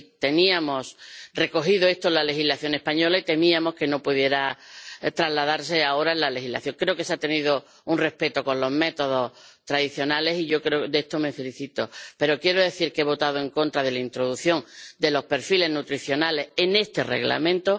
Estaba recogido en la legislación española y temíamos que no pudiera trasladarse ahora a la legislación europea. Creo que se ha mostrado respeto a los métodos tradicionales, de lo que me felicito. Pero quiero decir que he votado en contra de la introducción de los perfiles nutricionales en este Reglamento.